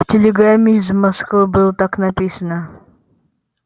в телеграмме из москвы было так написано